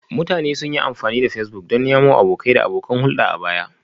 Mutane sun yi amfani da Facebook don nemo abokai da abokan hulɗa a baya